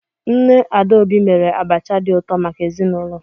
Nne Adaobi mere abacha dị ụtọ maka ezinụlọ.